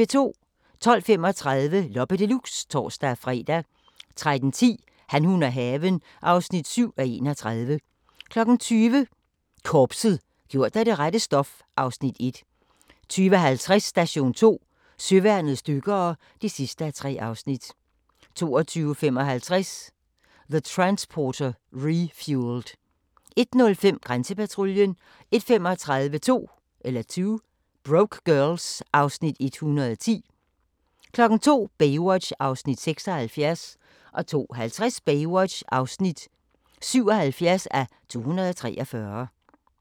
12:35: Loppe Deluxe (tor-fre) 13:10: Han, hun og haven (7:31) 20:00: Korpset - gjort af det rette stof (Afs. 1) 20:50: Station 2: Søværnets dykkere (3:3) 22:55: The Transporter Refueled 01:05: Grænsepatruljen 01:35: 2 Broke Girls (Afs. 110) 02:00: Baywatch (76:243) 02:50: Baywatch (77:243)